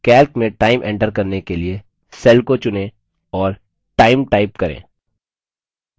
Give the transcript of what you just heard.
calc में time enter करने के लिए cell को चुनें और time time करें